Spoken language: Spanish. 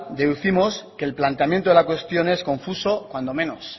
deducimos que el planteamiento de la cuestión es confuso cuando menos